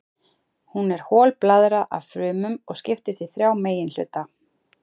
Hún er hol blaðra af frumum og skiptist í þrjá meginhluta.